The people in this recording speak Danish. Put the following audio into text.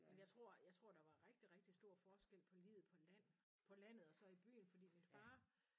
Men jeg tror jeg tror der var rigtig rigtig stor forskel på livet på land på landet og så i byen fordi min far